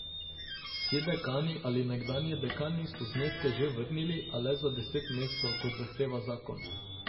Vsi dekani ali nekdanji dekani so zneske že vrnili, a le za deset mesecev, kot zahteva zakon.